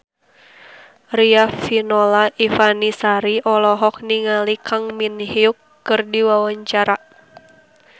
Riafinola Ifani Sari olohok ningali Kang Min Hyuk keur diwawancara